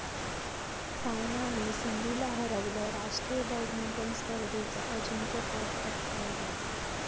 सायनाने सिंधूला हरवलं, राष्ट्रीय बॅडमिंटन स्पर्धेचं अजिंक्यपद पटकावलं